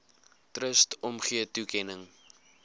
trust omgee toekenning